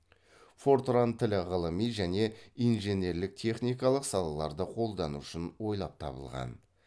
фортран тілі ғылыми және инженерлік техникалық салаларда қолдану үшін ойлап табылған